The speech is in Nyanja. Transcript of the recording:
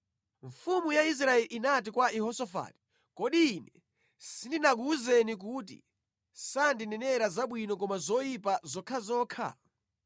Mfumu ya Israeli inati kwa Yehosafati, “Kodi ine sindinakuwuzeni kuti sandinenera zabwino koma zoyipa zokhazokha?”